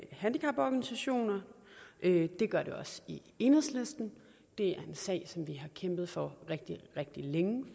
handicaporganisationerne det gør det også i enhedslisten det er en sag som vi har kæmpet for rigtig rigtig længe